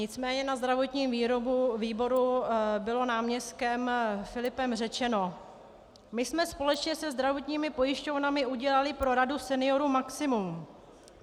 Nicméně na zdravotním výboru bylo náměstkem Filipem řečeno: "My jsme společně se zdravotními pojišťovnami udělali pro Radu seniorů maximum.